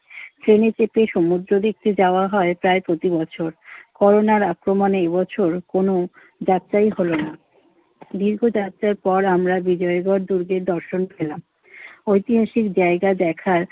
ট্রেনে চেপে সমুদ্র দেখতে যাওয়া হয় প্রায় প্রতিবছর। করোনার আক্রমণে এ বছর কোন যাত্রাই হলো না। দীর্ঘযাত্রার পর আমরা বিজয়গড় দুর্গের দর্শন পেলাম। ঐতিহাসিক জায়গা দেখার